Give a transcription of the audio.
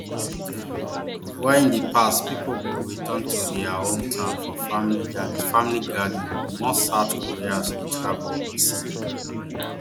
while in di past pipo go return to dia hometowns for family gatherings family gatherings more south koreans dey travel overseas